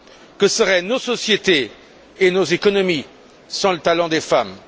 Que seraient nos sociétés et nos économies sans le talent des femmes?